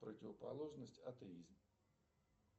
противоположность атеизм